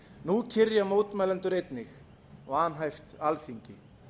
nú kyrja mótmælendur einnig vanhæft alþingi